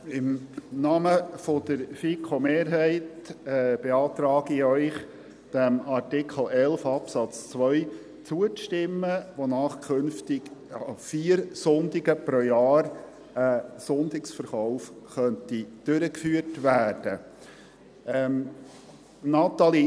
Im Namen der FiKoMehrheit beantrage ich Ihnen, dem Artikel 11 Absatz 2 zuzustimmen, wonach künftig an vier Sonntagen pro Jahr ein Sonntagsverkauf durchgeführt werden könnte.